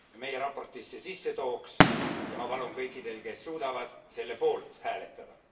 meie raportisse sisse tooks, ja ma palun kõikidel, kes suudavad, selle poolt hääletada.